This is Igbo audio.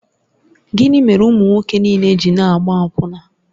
Gịnị mere ụmụ nwoke niile ji na-agba akwụna?